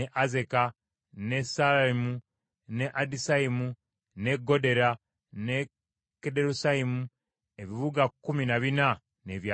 n’e Saalayimu, n’e Adisaimu, n’e Gedera, n’e Gederosaimu, ebibuga kkumi na bina n’ebyalo byabyo.